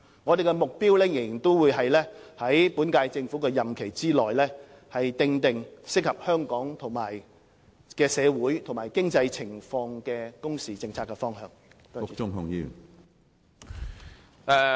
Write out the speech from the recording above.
我們的目標仍然是在本屆政府的任期內，訂定適合香港社會和經濟情況的工時政策方向。